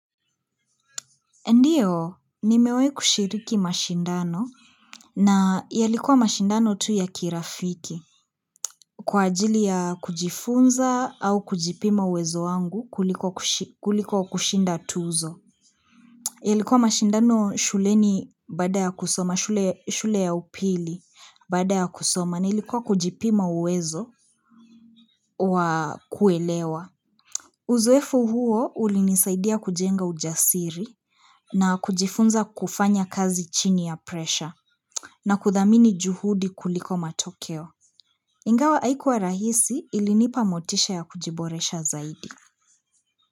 Ndiyo, nimewahi kushiriki mashindano na yalikuwa mashindano tu ya kirafiki. Kwa ajili ya kujifunza au kujipima uwezo wangu kuliko kushinda tuzo. Yalikuwa mashindano shuleni baada ya kusoma, shule ya upili bada ya kusoma, nilikuwa kujipima wezo wa kuelewa. Uzoefu huo ulinisaidia kujenga ujasiri na kujifunza kufanya kazi chini ya presha na kudhamini juhudi kuliko matokeo. Ingawa haikuwa rahisi ilinipa motisha ya kujiboresha zaidi.